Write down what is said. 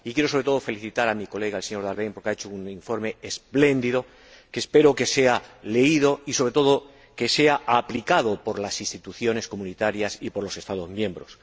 Y quiero, sobre todo, felicitar a mi colega, el señor Daerden, porque ha hecho un informe expléndido que, espero, que sea leído y, sobre todo, que sea aplicado por las instituciones comunitarias y por los Estados miembros.